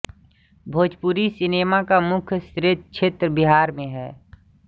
Bhojpuri cinema का मुख्य क्षेत्र बिहार में है